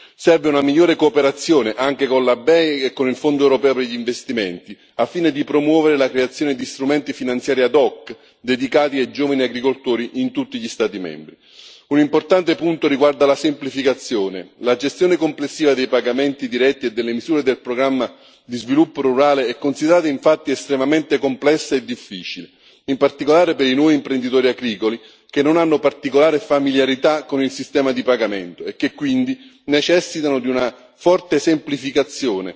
Serve una migliore cooperazione anche con la BEI e con il Fondo europeo per gli investimenti, al fine di promuovere la creazione di strumenti finanziari ad hoc dedicati ai giovani agricoltori in tutti gli Stati membri. Un importante punto riguarda la semplificazione la gestione complessiva dei pagamenti diretti e delle misure del programma di sviluppo rurale è considerata infatti estremamente complessa e difficile, in particolare per i nuovi imprenditori agricoli che non hanno particolare familiarità con il sistema di pagamento, e che quindi necessitano di una forte semplificazione